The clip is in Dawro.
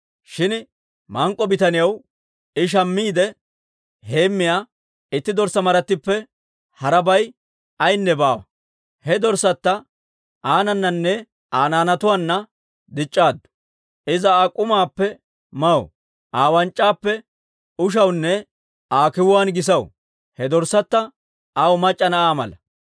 shin mank'k'o bitaniyaw I shammiide heemmiyaa itti dorssaa marattippe harabay ayaynne baawa. He dorssatta aanananne Aa naanatuwaanna dic'c'aaddu; Iza Aa k'umaappe maw; Aa wanc'c'aappe ushawunne Aa kiwuwaan gisaw. He dorssatta aw mac'c'a na'aa mala.